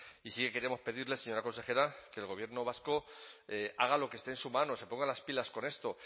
y sí que queremos pedirle señora consejera que el gobierno vasco haga lo que esté en su mano se ponga las pilas con esto